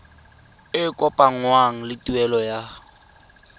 e kopanngwang le tuelo ya